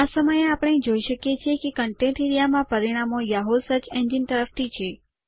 આ સમયે આપણે જોઈ શકીએ છીએ કે કન્ટેન્ટ્સ એઆરઇએ માં પરિણામો યાહૂ સર્ચ એન્જિન તરફ થી છે